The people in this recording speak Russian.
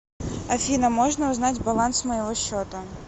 афина можно узнать баланс моего счета